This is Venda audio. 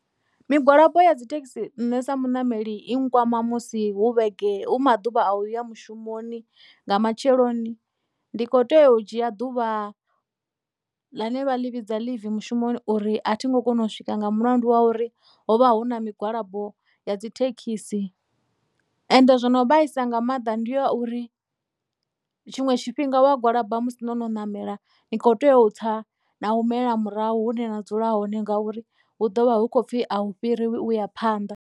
Migwalabo ya dzithekhisi nṋe sa muṋameli i nkwama musi hu vhege hu maḓuvha a uya mushumoni nga matsheloni ndi kho tea u dzhia ḓuvha ḽine vhaḽi vhidza ḽivi mushumoni uri a thi ngo kona u swika nga mulandu wa uri hovha hu na migwalabo ya dzithekhisi ende zwo no vhaisa nga maanḓa ndi ya uri tshiṅwe tshifhinga wa gwalaba musi no no ṋamela ni kho tea u tsa na humela murahu hune na dzula hone ngauri hu ḓo vha hu khou pfhi a u fhiriwa uya phanḓa.